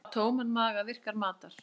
Á tóman maga virkar matar